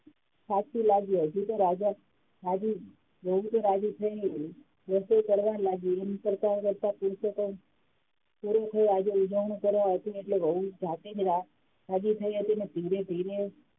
સાચુ લાગ્યુ હજી તો રાજા વહુ તો રાજી થઈને રસોઈ કરવા લાગી એમ કરતાં કરતાં પુરુષોત્તમ પૂરો થયો આજે ઉજાણી કરવાની હતી એટલે વહુ જાતે જ રાજી થઈ હતી અને ધીરે ધીરે